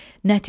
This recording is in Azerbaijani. Nəticə.